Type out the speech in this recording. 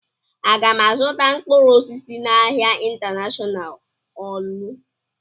Aga m azụta mkpụrụ osisi n'ahia Intanashọnal Ọọlụ?